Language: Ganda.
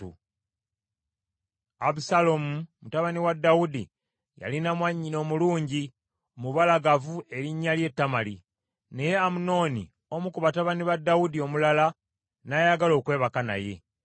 Abusaalomu, mutabani wa Dawudi yalina mwannyina omulungi, omubalagavu erinnya lye Tamali , naye Amunoni omu ku batabani ba Dawudi omulala n’ayagala okwebaka naye.